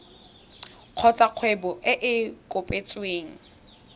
kgotsa kgwebo e e kopetsweng